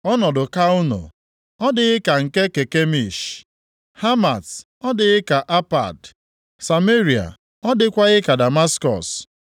‘Ọnọdụ Kalno ọ dịghị ka nke Kakemish? Hamat ọ dịghị ka Apad; Sameria ọ dịghịkwa ka Damaskọs?